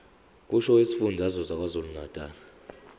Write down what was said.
kusho isifundazwe sakwazulunatali